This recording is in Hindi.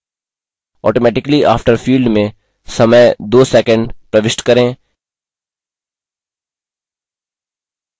automatically after field में समय 2 सैकंड प्रविष्ट करें